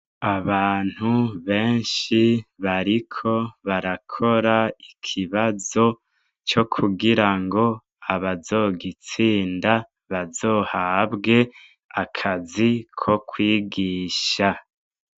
Abantu benshi bariko barakora ikibazo co kugira ngo abazogitsinda bazohabwe akazi ko kwigisha.